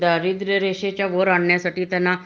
दारिद्रय रेषेच्या वर आणण्यासाठी त्यांना